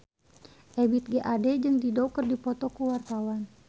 Ebith G. Ade jeung Dido keur dipoto ku wartawan